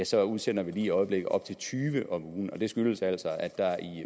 så udsender vi lige i øjeblikket op til tyve om ugen det skyldes altså at der